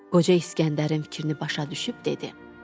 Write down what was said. Qoca İsgəndərin fikrini başa düşüb dedi: